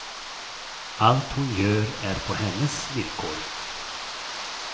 Allt hon gör är på hennes villkor.